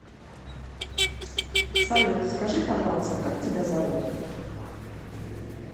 салют скажи пожалуйста как тебя зовут